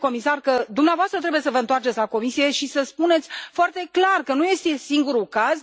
domnule comisar, că dumneavoastră trebuie să vă întoarceți la Comisie și să spuneți foarte clar că nu este singurul caz.